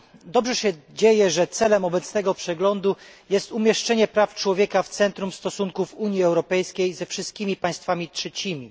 Dobrze się dzieje, że celem obecnego przeglądu jest umieszczenie praw człowieka w centrum stosunków Unii Europejskiej ze wszystkimi państwami trzecimi.